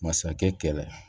Masakɛ kɛrɛ